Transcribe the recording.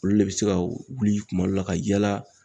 Olu le bɛ se ka wuli kuma dɔ la ka yala.